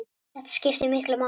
Þetta skiptir miklu máli.